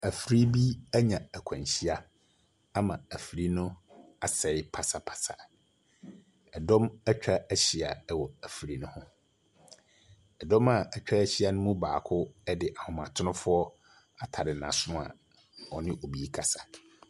Afiri bi anya akwanhyia ama afiri no asɛe pasapasa. Ɛdɔm atwa ahyia wɔ afiri no ho. Ɛdɔ a atwa ahyia no mu baako de ahomatrofoɔ atare n'aso a ɔne obi rekasa.